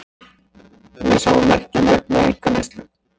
Við sjáum merki um aukna einkaneyslu